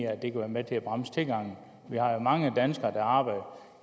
at det kan være med til at bremse tilgangen vi har jo mange danskere der arbejder